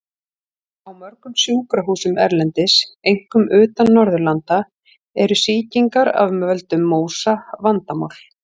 Á mörgum sjúkrahúsum erlendis, einkum utan Norðurlanda, eru sýkingar af völdum MÓSA vandamál.